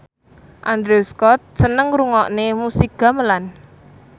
Andrew Scott seneng ngrungokne musik gamelan